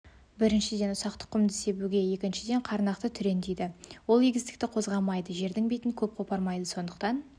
біріншіден ұсақ тұқымды себуге екіншіден қарнақты түрен дейді ол егістікті қозғамайды жердің бетін көп қопармайды сондықтан